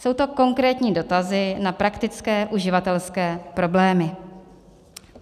Jsou to konkrétní dotazy na praktické uživatelské problémy.